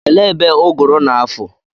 Elee ebe ụgụrụ na-afụ?